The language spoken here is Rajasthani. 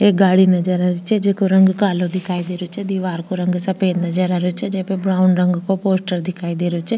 एक गाड़ी नजर आ री छे जेको रंग कालो नजर आ रेहो छे दिवार को रंग सफेद नजर आ रेहो छे जेमे ब्राउन रंग को पोस्टर दिखाई दे रो छे।